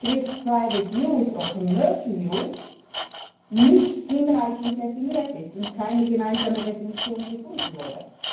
der Begriff nicht hinreichend definiert ist und keine gemeinsame Definition gefunden wurde.